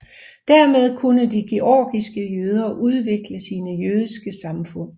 Dermed kunne de georgiske jøder udvikle sine jødiske samfund